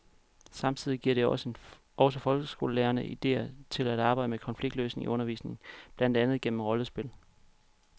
Samtidig giver det også folkeskolelærerne idéer til at arbejde med konfliktløsning i undervisningen, blandt andet gennem rollespil.